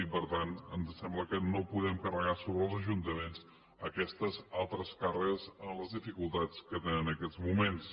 i per tant ens sembla que no podem carregar sobre els ajuntaments aquestes altres càrregues amb les dificultats que tenen en aquests moments